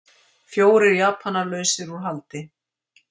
Fjórir Japanar lausir út haldi